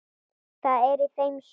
Það er í þeim sorg.